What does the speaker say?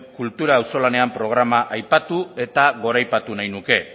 kultura auzolanean programa aipatu eta goraipatu nahi nuke